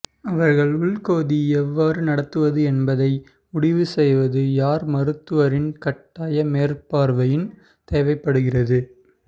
அவர்கள் உள் கொதி எவ்வாறு நடத்துவது என்பதை முடிவுசெய்வது யார் மருத்துவரின் கட்டாய மேற்பார்வையின் தேவைப்படுகிறது